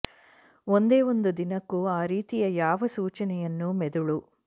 ಒಂದೇ ಒಂದು ದಿನಕ್ಕೂ ಆ ರೀತಿಯ ಯಾವ ಸೂಚನೆಯನ್ನೂ ಮೆದುಳು